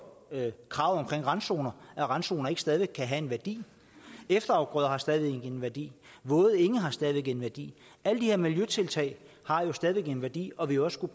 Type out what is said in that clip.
kravet om randzoner at randzonerne ikke stadig væk kan have en værdi efterafgrøder har stadig væk en værdi våde enge har stadig væk en værdi alle de her miljøtiltag har jo stadig væk en værdi og vil også